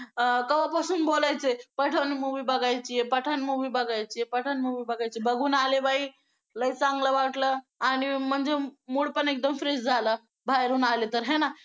अं केव्हापासून बोलायचे पठाण movie बघायची आहे, पठाण movie बघायची आहे, पठाण movie बघायची आहे, बघून आले बाई लई चांगलं वाटलं आणि म्हणजे mood पण एकदम fresh झाला बाहेरून आले तर आहे ना